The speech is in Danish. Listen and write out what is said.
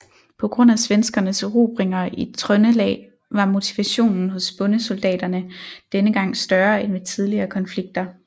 På grund af svenskernes erobringer i Trøndelag var motivationen hos bondesoldaterne denne gang større end ved tidligere konflikter